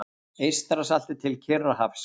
Eystrasalti til Kyrrahafs.